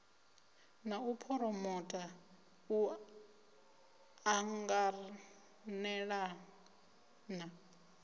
na u phuromota u ṱanganelana